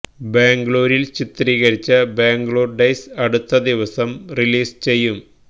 ബാംഗ്ലൂരില് ചിത്രീകരിച്ച ബാംഗ്ലൂര് ഡെയ്സ് അടുത്ത ദിവസം റിലീസ് ചെയ്യും